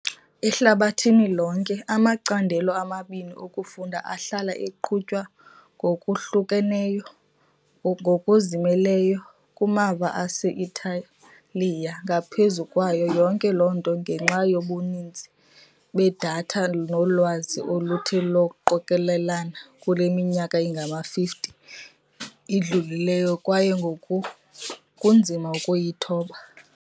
Ehlabathini lonke, amacandelo amabini okufunda ahlala eqhutywa ngokwahlukeneyo, ngokuzimeleyo kumava ase-Italiya, ngaphezu kwayo yonke loo nto ngenxa yobuninzi bedatha nolwazi oluthe lwaqokelelana kule minyaka ingama-50 idlulileyo, kwaye ngoku kunzima ukuyithoba.